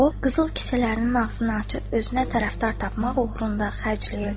O, qızıl kisələrinin ağzını açıb özünə tərəfdar tapmaq uğrunda xərcləyirdi.